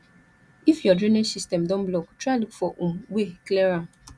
if your drainage system don block try look for um way clear am